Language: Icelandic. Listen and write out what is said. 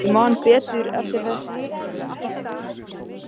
Ég man betur eftir þessu en þættinum með Jónasi.